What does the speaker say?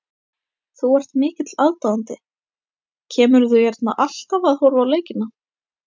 Þú ert mikill aðdáandi, kemurðu hérna alltaf að horfa á leikina?